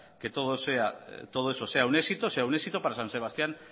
que todo eso sea un éxito para san sebastián